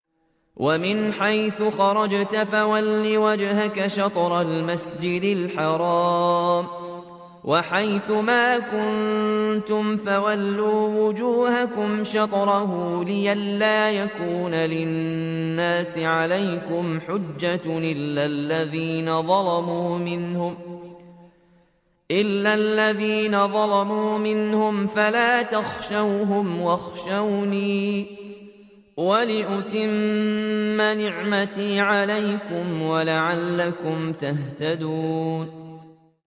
وَمِنْ حَيْثُ خَرَجْتَ فَوَلِّ وَجْهَكَ شَطْرَ الْمَسْجِدِ الْحَرَامِ ۚ وَحَيْثُ مَا كُنتُمْ فَوَلُّوا وُجُوهَكُمْ شَطْرَهُ لِئَلَّا يَكُونَ لِلنَّاسِ عَلَيْكُمْ حُجَّةٌ إِلَّا الَّذِينَ ظَلَمُوا مِنْهُمْ فَلَا تَخْشَوْهُمْ وَاخْشَوْنِي وَلِأُتِمَّ نِعْمَتِي عَلَيْكُمْ وَلَعَلَّكُمْ تَهْتَدُونَ